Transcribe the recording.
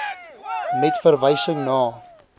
met verwysing na